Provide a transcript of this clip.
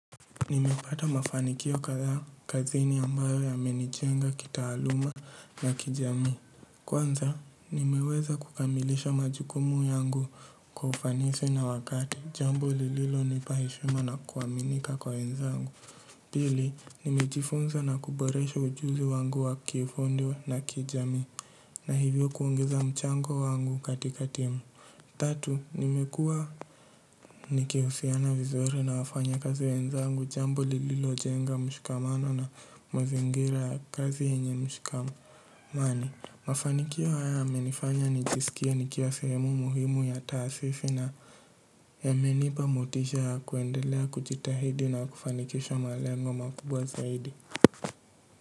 Nimepata mafanikio kadha kazini ambayo yamenijenga kitaaluma na kijamii. Kwanza, nimeweza kukamilisha majukumu yangu kwa ufanisi na wakati jambo lililonipa heshima na kuaminika kwa wenzangu. Pili, nimejifunza na kuboresha ujuzi wangu wa kifundi na kijamii na hivyo kuongeza mchango wangu katika timu tatu nimekua nikihusiana vizuri na wafanya kazi wenzangu jambo lililo jenga mshikamano na mazingira ya kazi yenye mshikamani mafanikio haya yamenifanya nijisikie nikiwa sehemu muhimu ya taasisi na yamenipa motisha ya kuendelea kujitahidi na kufanikisha malengo makubwa zaidi.